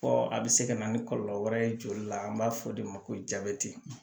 Fɔ a bɛ se ka na ni kɔlɔlɔ wɛrɛ ye joli la an b'a fɔ o de ma ko jabɛti